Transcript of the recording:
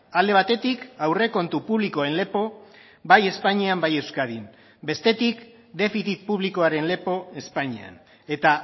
alde batetik aurrekontu publikoen lepo bai espainian bai euskadin bestetik defizit publikoaren lepo espainian eta